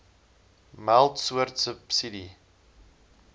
meld soort subsidie